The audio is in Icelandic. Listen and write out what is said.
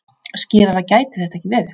Skýrara gæti þetta ekki verið.